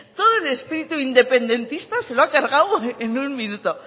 todo el espíritu independentista se lo ha cargado en un minuto